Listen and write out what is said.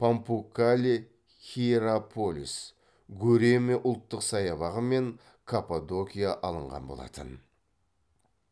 памуккале хиераполис гөреме ұлттық саябағы мен каппадокия алынған болатын